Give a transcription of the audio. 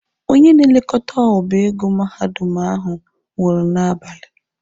Onye na-elekọta ọba ego mahadum ahụ nwụrụ n'abalị.